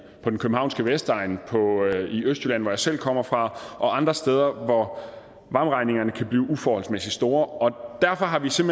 på den københavnske vestegn og i østjylland hvor jeg selv kommer fra og andre steder hvor varmeregningerne kan blive uforholdsmæssigt store derfor har vi set